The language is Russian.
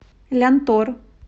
лянтор